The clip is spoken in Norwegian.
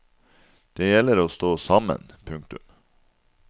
Og det gjelder å stå sammen. punktum